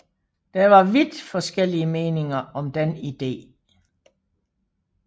Der var vidt forskellige meninger om den idé